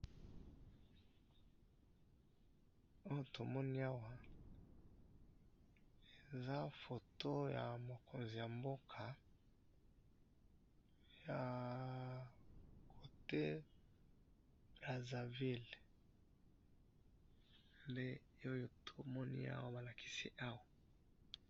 Oyo tomoni awa eza photo ya mokonzi ya mboka ya cote ya brazzaville nde oyo tomoni awa balakisi awa